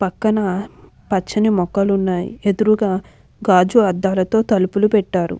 పక్కన పచ్చని మొక్కలు ఉన్నాయి ఎదురుగా గాజు అద్దాలతో తలుపులు పెట్టారు.